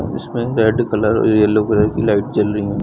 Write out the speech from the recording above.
उसमें red colour yellow colour की light जल रही हैं।